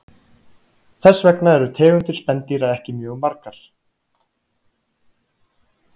Þess vegna eru tegundir spendýra ekki mjög margar.